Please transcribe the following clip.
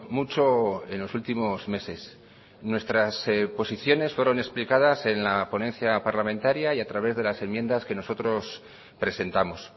mucho en los últimos meses nuestras posiciones fueron explicadas en la ponencia parlamentaria y a través de las enmiendas que nosotros presentamos